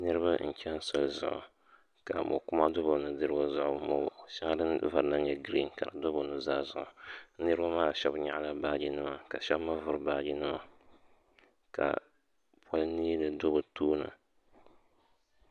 Niriba n cheni soli zuɣu ka mokuma do bɛ nudirigu zuɣu ka mo'sheli din vari nyɛ girin ka do bɛ nuzaa zuɣu niriba maa sheba nyaɣala baaji nima ka sheba mee vuri bɛ baaji nima ka poli neeli do bɛ tooni.